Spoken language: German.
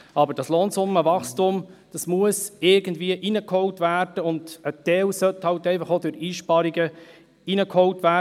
Aber das Lohnsummenwachstum muss irgendwie hereingeholt werden, und ein Teil sollte halt einfach auch durch Einsparungen hereingeholt werden.